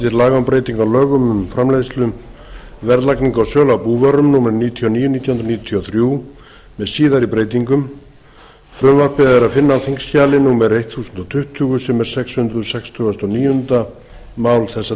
breytingu á lögum um framleiðslu verðlagningu og sölu á búvörum númer níutíu og níu nítján hundruð níutíu og þrjú með síðari breytingum frumvarpið er að finna á þingskjali þúsund tuttugu sem er sex hundruð sextugustu og níunda mál þessa þings frumvarp